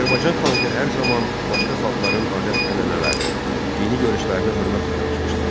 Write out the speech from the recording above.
Azərbaycan xalqı hər zaman başqa xalqların adət-ənənələrinə, dini görüşlərinə hörmətlə yanaşmışlar.